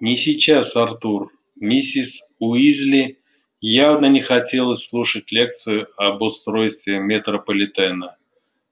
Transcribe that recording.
не сейчас артур миссис уизли явно не хотелось слушать лекцию об устройстве метрополитена